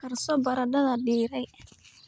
Karso baradhada diiray.